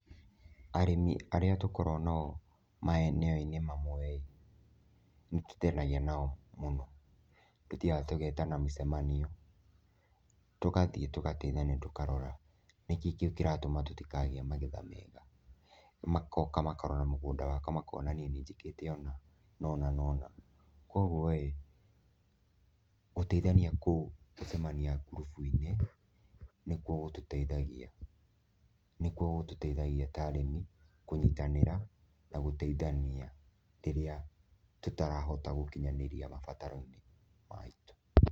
Arĩmi arĩa tũkoragwo nao maeneo-inĩ mamwe ĩ, nĩ tũtenagia nao mũno, tũthiaga tũgetana mĩcemanio tũgathiĩ tũgateithania tũkarora, nĩkĩĩ kĩu kĩratũma tũtikagĩe magetha mega? Magoka makarora mũgũnda wakwa makona niĩ nĩnjĩkĩte ũna nona nona. Koguo ĩ, gũteithania kũu gũcemania ngurubu-inĩ nĩkuo gũtũteithagia, nĩkuo gũtũteithagia ta arĩmi kũnyitanĩra na gũteithania rĩrĩa tũtarahota gũkinyanĩria mabataro maitu.